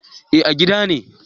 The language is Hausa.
Eh a gida ne